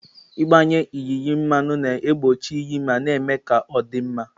Ịgbanye yinye mmanụ na-egbochi iyi ma na-eme ka ọ dị mma.